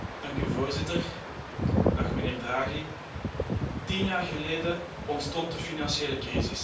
Voorzitter, mijnheer Draghi, tien jaar geleden ontstond de financiële crisis.